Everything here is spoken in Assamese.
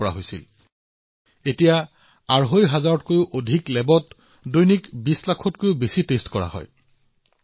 আৰম্ভণিতে এদিনত কেইশটামানহে পৰীক্ষা কৰিব পৰা গৈছিল এতিয়া এদিনত ২০ লাখতকৈও অধিক পৰীক্ষা অনুষ্ঠিত হৈছে